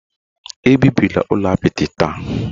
Ebibila ụlọ apịtị taa?